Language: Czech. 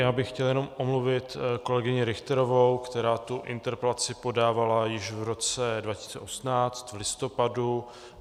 Já bych chtěl jenom omluvit kolegyni Richterovou, která tu interpelaci podávala již v roce 2018 v listopadu.